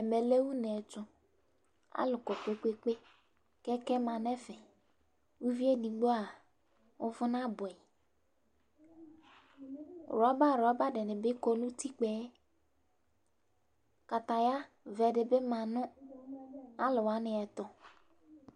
ɛmɛ lɛ uneɛto alo kpekpekpekpe kɛkɛ ma n'ɛfɛ uvie edigbo uvò naboɛ rɔba rɔba dini bi kɔ n'utikpaɛ kataya vɛ di bi ma no alowaniɛto